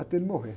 Até ele morrer.